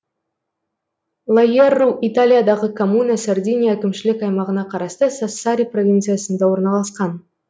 лаерру италиядағы коммуна сардиния әкімшілік аймағына қарасты сассари провинциясында орналасқан